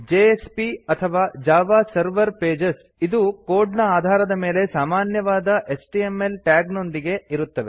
JSP ಅಥವಾ Java server pages Java server pages ಇದು code ನ ಆಧಾರದ ಮೇಲೆ ಸಾಮಾನ್ಯವಾದ ಎಚ್ಟಿಎಂಎಲ್ ಟ್ಯಾಗ್ ನೊಂದಿಗೆ ಇರುತ್ತವೆ